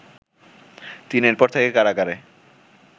তিনি এরপর থেকে কারাগারে